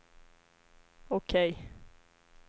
OK